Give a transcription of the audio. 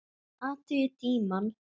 Athugið tímann.